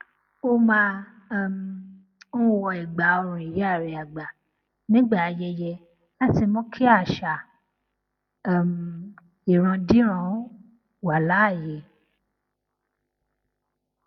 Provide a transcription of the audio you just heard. ó máa um ń wọ ẹgbàọrùn ìyá rẹ àgbà nígbà ayẹyẹ láti mú kí àṣà um ìrandíran wà láàyè